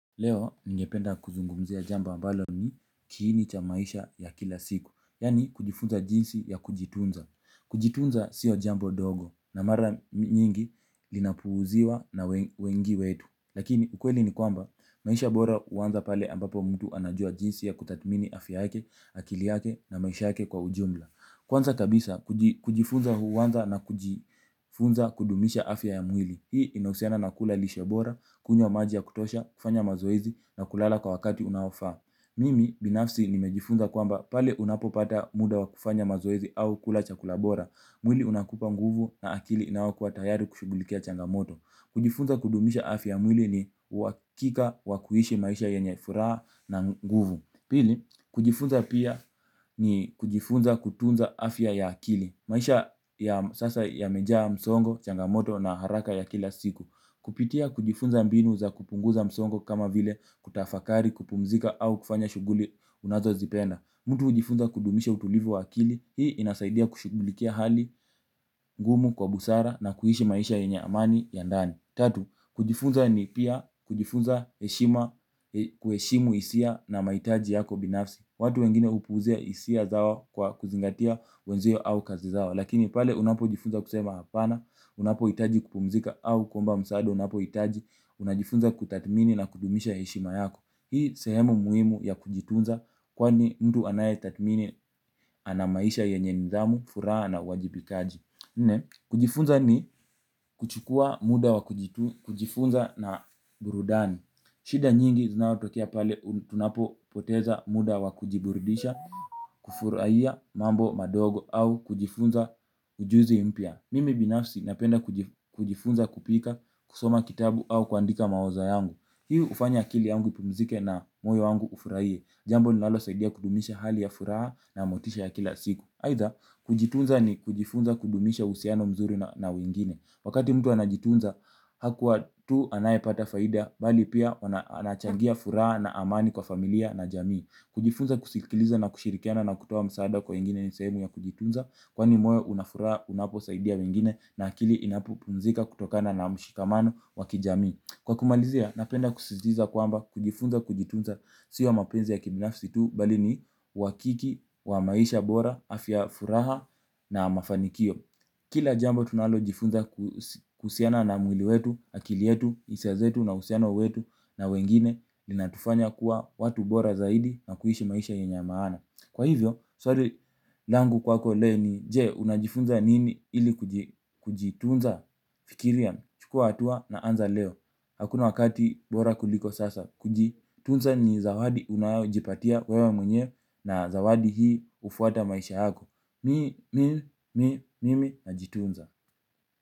Leo ningependa kuzungumzia jambo ambalo ni kiini cha maisha ya kila siku. Yani kujifunza jinsi ya kujitunza. Kujitunza sio jambo dogo na mara nyingi linapuuziwa na wengi wetu. Lakini ukweli ni kwamba maisha bora huanza pale ambapo mtu anajua jinsi ya kutathmini afya yake, akili yake na maisha yake kwa ujumla. Kwanza kabisa kujifunza huanza na kujifunza kudumisha afya ya mwili. Hii inahusiana na kula lishebora, kunywa maji ya kutosha, kufanya mazoezi na kulala kwa wakati unaofaa. Mimi binafsi nimejifunza kwamba pale unapopata muda wa kufanya mazoezi au kula chakula bora. Mwili unakupa nguvu na akili inayokuwa tayari kushugulikia changamoto. Kujifunza kudumisha afya mwili ni uhakika wa kuishi maisha yenye furaha na nguvu. Pili, kujifunza pia ni kujifunza kutunza afya ya akili. Maisha ya sasa yamejaa msongo, changamoto na haraka ya kila siku. Kupitia kujifunza mbinu za kupunguza msongo kama vile kutafakari, kupumzika au kufanya shuguli unazo zipenda. Mtu hujifunza kudumisha utulivu wa akili, hii inasaidia kushugulikia hali, ngumu, kwa busara na kuishi maisha yenye amani ya ndani. Tatu kujifunza ni pia kujifunza heshima kuheshimu hisia na mahitaji yako binafsi. Watu wengine hupuuza hisia zao kwa kuzingatia wenzio au kazi zao. Lakini pale unapojifunza kusema hapana, unapohitaji kupumzika au kuomba msaada, unapohitaji, unajifunza kutathmini na kudumisha heshima yako. Hii sehemu muhimu ya kujitunza kwani mtu anayetathmini ana maisha yenye nidhamu, furaha na uwajibikaji. Nne kujifunza ni kuchukua muda wa kujifunza na burudani. Shida nyingi zinayotokea pale tunapo poteza muda wa kujiburudisha. Kufurahia mambo madogo au kujifunza ujuzi mpya mimi binafsi napenda kujifunza kupika kusoma kitabu au kuandika mawazo yangu ili kufanya akili yangu ipumzike na moyo wangu ufurahie, jambo linalosaidia kudumisha hali ya furaha na motisha ya kila siku, aidha kujitunza ni kujifunza kudumisha uhusiano mzuri na wengine. Wakati mtu anajitunza, hakuwa tu anayepata faida bali pia anachangia furaha na amani kwa familia na jamii. Kujifunza kusikiliza na kushirikiana na kutuoa msaada kwa wengine ni sehemu ya kujitunza kwa ni moyo una furaha unaposaidia wengine na akili inapopumzika kutokana na mshikamano wa kijamii. Kwa kumalizia, napenda kusisitiza kwamba kujifunza kujitunza. Sio mapenzi ya kibinafsi tu, bali ni uhakika, wa maisha bora, afya ya furaha na mafanikio. Kila jambo tunalo jifunza kusiana na mwili wetu, akili yetu, hisia zetu na uhusiano wetu na wengine linatufanya kuwa watu bora zaidi na kuishi maisha yenye maana. Kwa hivyo, swali, langu kwako leo ni je, unajifunza nini ili kujitunza fikiria. Chukua hatua na anza leo. Hakuna wakati bora kuliko sasa. Kujitunza ni zawadi unayojipatia wewe mwenyewe. Na zawadi hii hufuata maisha yako. Mimi, Mimi, Mimi na jitunza.